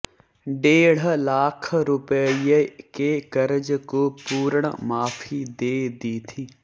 डेढ़ लाख रुपये के कर्ज को पूर्ण माफी दे दी थी